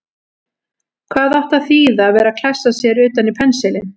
Hvað átti að þýða að vera að klessa sér utan í pensilinn!